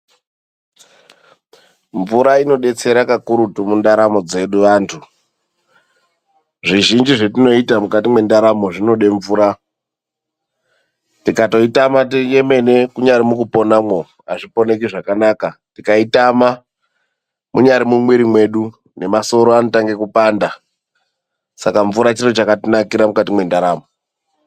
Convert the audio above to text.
Mvura inodetsera kakurutu mundaramo dzedu antu, zvizhinji zvetinoita mukati mundaramo zvinode mvura. Tikatoitama yemene kunyari mukuponamwo hazviponeki zvakanaka, tikaitama munyari mumwiri mwedu ngemasoro anotange kupanda, saka mvura chirochakatinakira mukati mwendaramo.